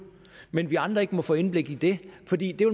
men vi andre ikke må få indblik i det fordi